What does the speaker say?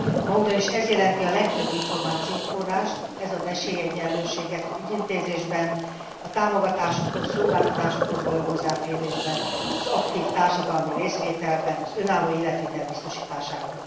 Ma ugyanis ez jelenti a legfőbb információforrást, ez ad esélyegyenlőséget az ügyintézésben, a támogatásokhoz, szolgáltatásokhoz való hozzáférésben, az aktív társadalmi részvételben, az önálló életvitel biztosításában.